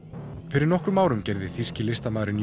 fyrir nokkrum árum gerði þýski listamaðurinn